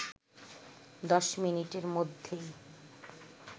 ১০ মিনিটের মধ্যেই